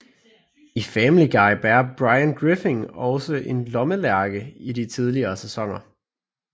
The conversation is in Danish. I Family Guy bærer Brian Griffin også en lommelærke i de tidligere sæsoner